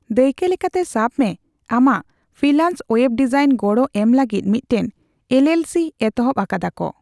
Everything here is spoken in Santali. ᱫᱟᱹᱭᱠᱟᱹ ᱞᱮᱠᱟᱛᱮ, ᱥᱟᱵᱽ ᱢᱮ ᱟᱢᱟᱜ ᱯᱷᱤᱞᱟᱱᱥ ᱚᱭᱮᱵ ᱰᱤᱡᱟᱭᱤᱱ ᱜᱚᱲᱚ ᱮᱢ ᱞᱟᱹᱜᱤᱫ ᱢᱤᱫᱴᱟᱝ ᱮᱞᱹᱮᱞᱹᱥᱤᱹ ᱮᱛᱚᱦᱚᱵ ᱟᱠᱟᱫᱟᱠᱚ ᱾